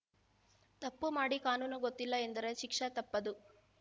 ತಪ್ಪು ಮಾಡಿ ಕಾನೂನು ಗೊತ್ತಿಲ್ಲ ಎಂದರೆ ಶಿಕ್ಷೆ ತಪ್ಪದು